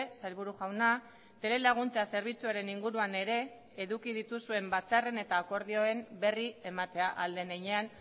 sailburu jauna telelaguntza zerbitzuaren inguruan ere eduki dituzuen batzarren eta akordioen berri ematea ahal den heinean